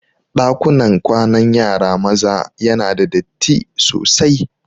Ɗakunan kwanan yara maza yana da datti sosai.